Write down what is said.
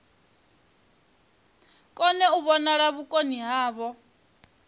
kone u vhonala vhukoni havho